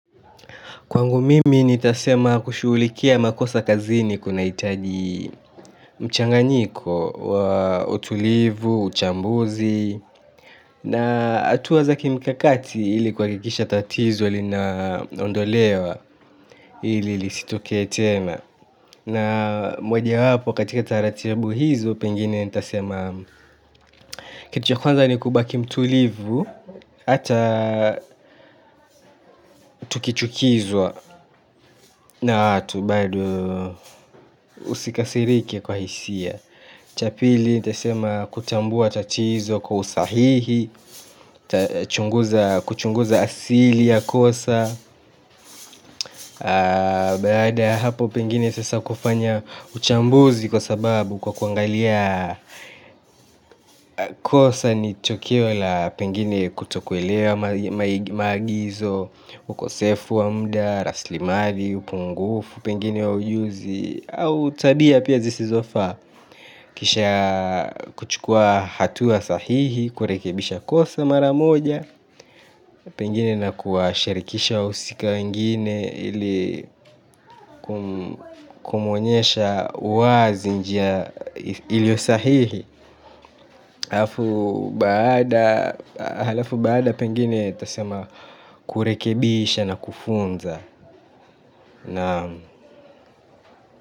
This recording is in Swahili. Kwangu mimi nitasema kushughulikia makosa kazini kunahitaji mchanganyiko wa utulivu, uchambuzi na hatua za kimikakati ili kuhakikisha tatizo linaondolewa ili lizitokee tena na mojawapo katika taratibu hizo pengine nitasema kitu cha kwanza ni kubaki mtulivu hata tukichukizwa na watu bado usikasirike kwa hisia cha pili nitasema kutambua tatizo kwa usahihi kuchunguza asili ya kosa baada ya hapo pengine sasa kufanya uchambuzi kwa sababu kwa kuangalia kosa ni tukio la pengine kutokuelewa maagizo ukosefu wa muda, rasilimali, upungufu pengine wa ujuzi au tabia pia zizofaa kisha kuchukua hatua sahihi kurekebisha kosa mara moja pengine na kuwashirikisha wahusika wengine ili kumuonyesha wazi njia ilio sahihi halafu baada pengine tasema kurekebisha na kufunza.